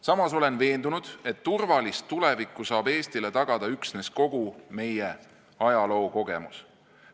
Samas olen veendunud, et turvalist tulevikku saab Eestile tagada üksnes kogu meie ajalookogemus.